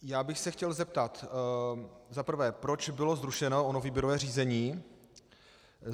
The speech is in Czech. Já bych se chtěl zeptat za prvé, proč bylo zrušeno ono výběrové řízení.